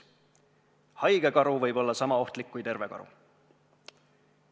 Haige karu võib olla sama ohtlik kui terve karu.